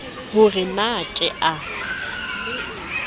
ho re na ke a